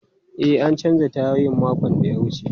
E, an canza tayoyin makon da ya wuce.